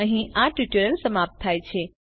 અહીં આ ટ્યુટોરીયલ સમાપ્ત થાય છે